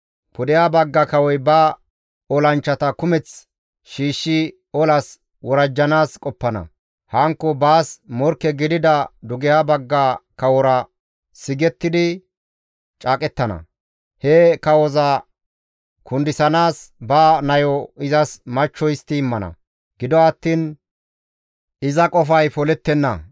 «Pudeha bagga kawoy ba olanchchata kumeth shiishshi olas worajjanaas qoppana; hankko baas morkke gidida dugeha bagga kawora sigettidi caaqettana; he kawoza kundisanaas ba nayo izas machcho histti immana; gido attiin iza qofay polettenna.